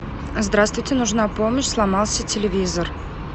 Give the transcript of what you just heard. здравствуйте нужна помощь сломался телевизор